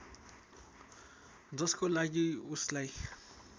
जसको लागि उसलाई